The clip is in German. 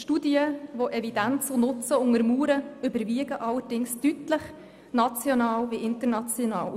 Studien, die Evidenz und Nutzen untermauern, überwiegen allerdings deutlich, national wie international.